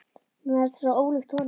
Mér fannst það svo ólíkt honum.